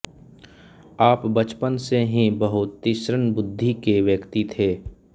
आप बचपन सेे ही बहुत तीश्रण बुद्धि के व्यक्ति थे